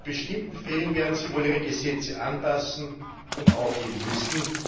In bestimmten Fällen werden sie wohl ihre Gesetze anpassen und aufheben müssen.